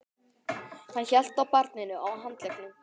Hann hélt á barninu á handleggnum.